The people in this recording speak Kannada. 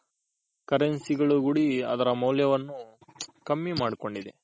Currency ಕೂಡಿ ಅದರ ಮೌಲ್ಯವನ್ನು ಕಮ್ಮಿ ಮಾಡ್ಕೊಂಡಿದೆ